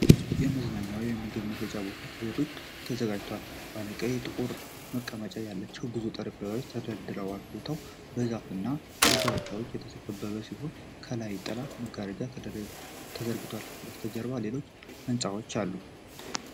የመዝናኛ ወይም የምግብ መሸጫ ቦታ ከቤት ውጭ ተዘጋጅቷል። ባለቀይና ጥቁር መቀመጫ ያላቸው ብዙ ጠረጴዛዎች ተደርድረዋል። ቦታው በዛፎች እና በኮረብታዎች የተከበበ ሲሆን፣ ከላይ ጥላ መጋረጃዎች ተዘርግተዋል። ከበስተጀርባ ሌሎች ሕንፃዎች አሉ።